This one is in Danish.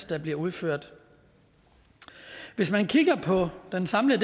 der bliver udført hvis man kigger på det her samlet